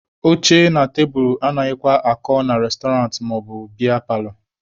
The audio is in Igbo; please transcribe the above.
Oche na tebulu anaghịkwa akọ na restọrantị maọbụ biya paalọ.